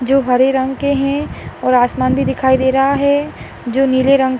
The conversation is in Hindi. जो हरे रंग के है और आसमान भी दिखाई दे रहा है जो नीले रंग --